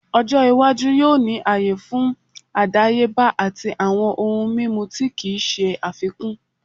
Ojo iwaju yoo ni aaye fun adayeba ati awọn ohun mimu ti kii ṣe afikun